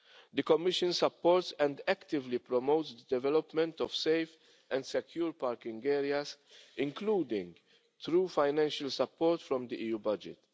The Commission supports and actively promotes the development of safe and secure parking areas, including through financial support from the EU budget.